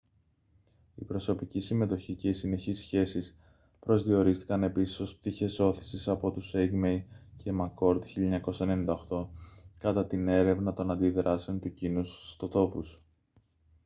η «προσωπική συμμετοχή» και οι «συνεχείς σχέσεις» προσδιορίστηκαν επίσης ως πτυχές ώθησης από τους eighmey και mccord 1998 κατά την έρευνα των αντιδράσεων του κοινού στους ιστοτόπους